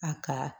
A ka